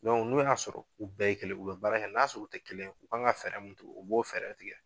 Dɔnku n'u y'a sɔrɔ u bɛɛ ye kelen u be baara kɛ n'a sɔrɔ u te kelen u kan ka fɛɛrɛ min tigɛ u b'o fɛɛrɛ tigɛ